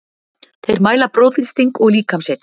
Þeir mæla blóðþrýsting og líkamshita.